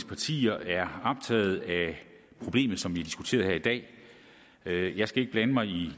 partier er optaget af problemet som vi har diskuteret her i dag jeg skal ikke blande mig i